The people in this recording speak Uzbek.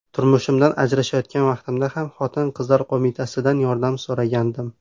Turmushimdan ajrashayotgan vaqtimda ham Xotin-qizlar qo‘mitasidan yordam so‘ragandim.